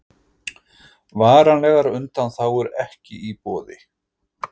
Varanlegar undanþágur ekki í boði